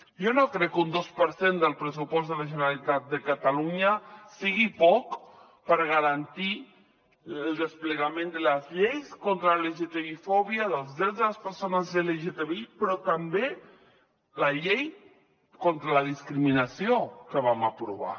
jo no crec que un dos per cent del pressupost de la generalitat de catalunya sigui poc per garantir el desplegament de les lleis contra la lgtbi fòbia dels drets de les persones lgtbi però també la llei contra la discriminació que vam aprovar